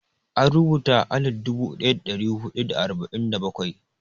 An rubuta a alif dubu ɗaya da ɗari huɗu da arba'in da bakwai.